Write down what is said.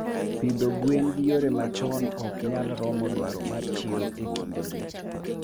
pidho gwen gi yore machon oknyal romo dwaro mar chiro e kindegi